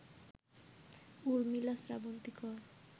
উর্মিলা শ্রাবন্তী কর